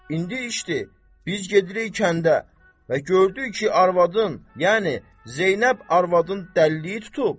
İndi işdir, biz gedirik kəndə və gördük ki, arvadın, yəni Zeynəb arvadın dəliliyi tutub.